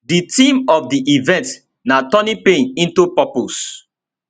di theme of di event na turning pain into purpose